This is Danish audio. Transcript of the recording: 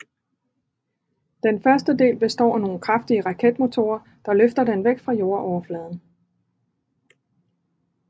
Den første del består af nogen kraftige raketmotorer der løfter den væk fra jordoverfladen